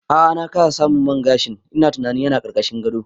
A'a na kasa samun man gashin, ina tunanin yana ƙarƙashin gado